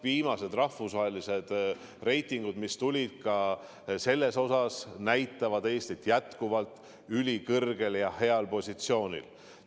Viimased rahvusvahelised reitingud, mis selle kohta välja tulid, näitavad Eestit jätkuvalt ülikõrgel ja heal positsioonil.